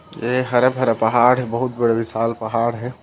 ये हरा भरा पहाड़ है बहुत बड़ा विशाल पहाड़ है ।--